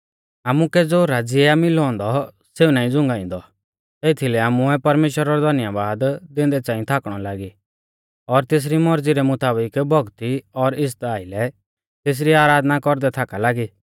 आमुकै ज़ो राज़्य आ मिलौ औन्दौ सेऊ नाईं झ़ुंगाइंदौ एथीलै आमुऐ परमेश्‍वरा रौ धन्यबाद दैंदै च़ांई थाकणौ लागी और तेसरी मौरज़ी रै मुताबिक भौक्ती और इज़्ज़ता आइलै तेसरी आराधना कौरदै थाका लागी